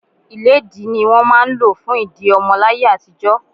Ilédi ni wọ́n máa ń lò fún ìdí ọmọ láyé àtijó.